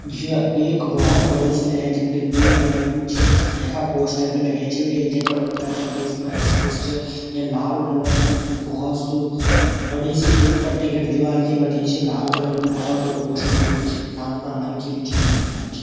ज़्य एक भौत बडू स्यु ऐंच बटिक पुल बण्यु छ यखा पोस्टर भी लग्याँ छ ये जगह उत्तर प्रदेश मा स्थित च य लाल कलर कु भौत सु बड़ी सी एक पट्टीगढ़ दीवाल ये बणीं छ लाल कलर कु भौत बडू पोस्टर भी लग्युं छ यथा उत्गा मनखी भी छक्की दिख्याणा छ।